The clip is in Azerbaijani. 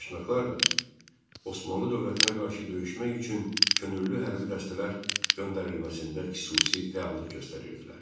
Daşnaqlar da Osmanlı dövlətinə qarşı döyüşmək üçün könüllü hərbi dəstələr göndərilməsində xüsusi fəallıq göstərirdilər.